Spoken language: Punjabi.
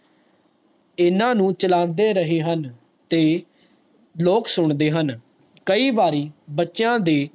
ਇੰਨਾ ਨੂੰ ਚਲਾਂਦੇ ਰਹੇ ਹਨ ਤੇ ਲੋਕ ਸੁਣਦੇ ਹਨ ਕਈ ਵਾਰੀ ਬੱਚਿਆਂ ਦੇ